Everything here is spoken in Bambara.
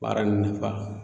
Baara in nafa